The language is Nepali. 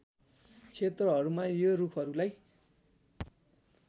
क्षेत्रहरूमा यो रुखहरूलाई